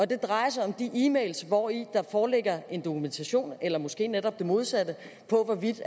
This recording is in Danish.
det drejer sig om de e mails hvori der foreligger en dokumentation eller måske netop det modsatte af hvorvidt